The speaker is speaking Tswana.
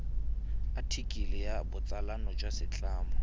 athikele ya botsalano jwa setlamo